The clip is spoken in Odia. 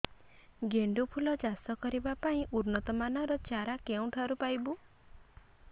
ଗେଣ୍ଡୁ ଫୁଲ ଚାଷ କରିବା ପାଇଁ ଉନ୍ନତ ମାନର ଚାରା କେଉଁଠାରୁ ପାଇବୁ